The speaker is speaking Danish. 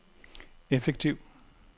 effektiv